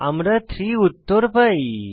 আমরা 3 উত্তর পাই